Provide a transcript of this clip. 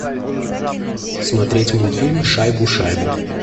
смотреть мультфильм шайбу шайбу